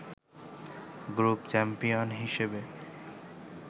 group champion হিসেবে